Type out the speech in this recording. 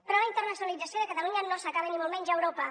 però la internacionalització de catalunya no s’acaba ni molt menys a europa